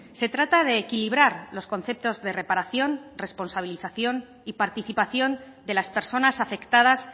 se trata de equilibrar los conceptos de reparación responsabilización y participación de las personas afectadas